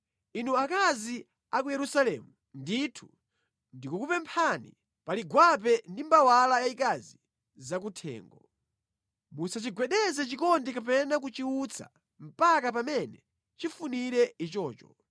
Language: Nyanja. Inu akazi a ku Yerusalemu, ndithu ndikukupemphani pali gwape ndi mbawala yayikazi zakuthengo: Musachigwedeze chikondi kapena kuchiutsa mpaka pamene chifunire ichocho.